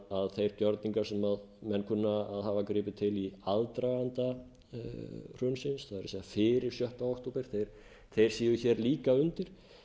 að þeir gjörningar sem menn kunna að hafa gripið til í aðdraganda hrunsins það er fyrir sjötta október séu líka undir